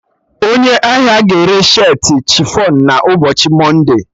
Onye ahia ga-ere shirtị chifọn na ụbọchị mọnde